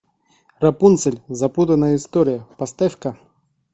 рапунцель запутанная история поставь ка